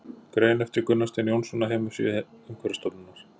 Grein eftir Gunnar Stein Jónsson á heimasíðu Umhverfisstofnunar.